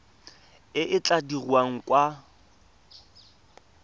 e e tla dirwang kwa